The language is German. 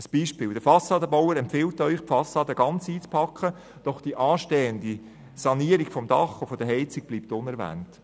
Ein Beispiel: Der Fassadenbauer empfiehlt Ihnen, die Fassade ganz einzupacken, doch die anstehende Sanierung des Dachs und der Heizung bleibt unerwähnt.